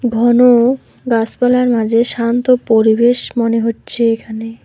ঘন গাসপালার মাঝে শান্ত পরিবেশ মনে হচ্ছে এখানে।